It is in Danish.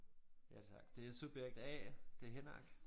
Ja tak det er subjekt A det Henrik